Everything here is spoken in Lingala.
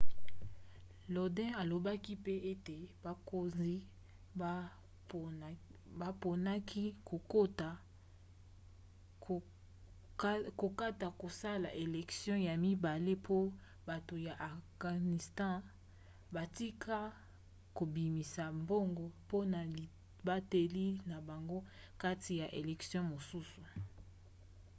lodin alobaki mpe ete bakonzi baponaki kokata kosala elektio ya mibale mpo bato ya afghanistan batika kobimisa mbongo mpona libateli na bango kati ya elektio mosusu